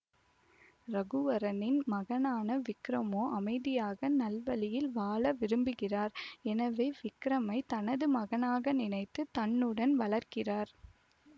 ரகுவரனின் மகனான விக்ரமோ அமைதியாக நல்வழியில் வாழ விரும்புகிறார் எனவே விக்ரமை தனது மகனாக நினைத்து தன்னுடன் வளர்க்கிறார்